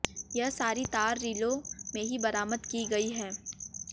यह सारी तार रीलों में ही बरामद की गयी है